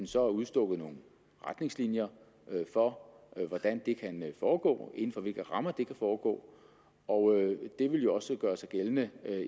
så udstukket nogle retningslinjer for hvordan det kan foregå og inden for hvilke rammer det kan foregå og det ville jo også gøre sig gældende